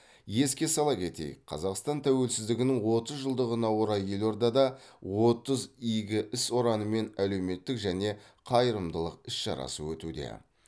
еске сала кетейік қазақстан тәуелсіздігінің отыз жылдығына орай елордада отыз игі іс ұранымен әлеуметтік және қайырымдылық іс шарасы өтуде